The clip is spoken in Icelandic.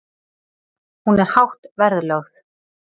Hún er hátt verðlögð.